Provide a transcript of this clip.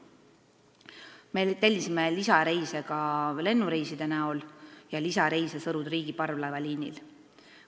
Me tellisime lisareise ka lennukitega ning Sõru–Triigi parvlaevaliinil.